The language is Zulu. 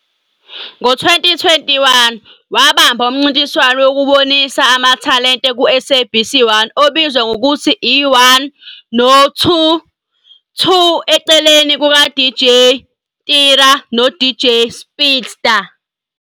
Ngo-2021, wabamba umncintiswano wokubonisa amathalenta ku-Sabc 1 obizwa ngokuthi i-"1 no-2"-2 eceleni kukaDJ Tira noDJ Speedsta.